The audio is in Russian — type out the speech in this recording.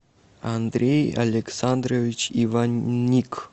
андрей александрович иванник